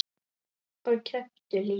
Og kepptu líka.